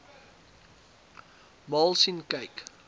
maal sien kyk